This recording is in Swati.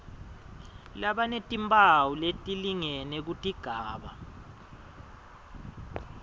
labanetimphawu letilingene kutigaba